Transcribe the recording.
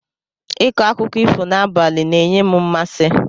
Ịkọ akụkọ ifo n'abalị ns-enye m mmasị.